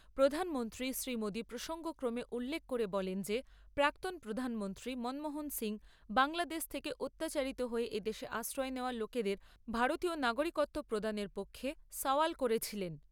প্রধানমন্ত্রী শ্রীমোদী প্রসঙ্গক্রমে উল্লেখ করেন যে প্রাক্তন প্রধানমন্ত্রী মনমোহন সিং বাংলাদেশ থেকে অত্যাচারিত হয়ে এদেশে আশ্রয় নেওয়া লোকেদের ভারতীয় নাগরিকত্ব প্রদানের পক্ষে সওয়াল করেছিলেন।